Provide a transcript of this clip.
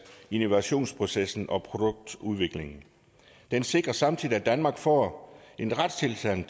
innovationsprocessen og produktudviklingen den sikrer samtidig at danmark får en retstilstand